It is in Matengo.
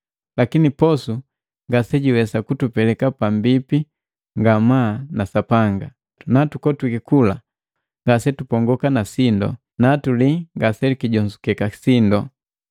Lakini posu ngasejiwesa kutupeleka pambipi ngamaa na Sapanga. Natukotwiki kula ngasetupongoka na sindu, natulii ngasekijonzukeka sindu.